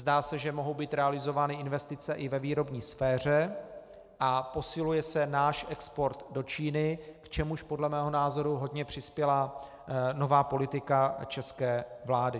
Zdá se, že mohou být realizovány investice i ve výrobní sféře a posiluje se náš export do Číny, k čemuž podle mého názoru hodně přispěla nová politika české vlády.